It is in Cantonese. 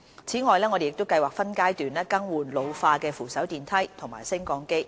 此外，我們計劃分階段更換老化的扶手電梯和升降機。